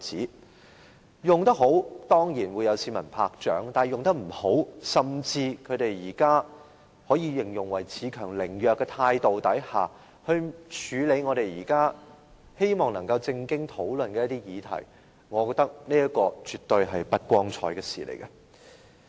如果能善用這一點，當然會有市民鼓掌，否則在有如現時這般可形容為恃強凌弱的態度下，處理議員希望能認真討論的議題，我認為是絕不光彩的事情。